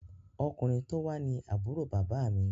Ọkùnrin tó wá ní Àbúrò bàbá mi